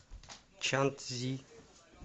чанцзи